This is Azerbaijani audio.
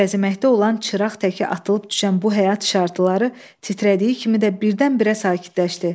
Öləzəkdə olan çıraq tək atılıb düşən bu həyat işıqları titrədiyi kimi də birdən-birə sakitləşdi.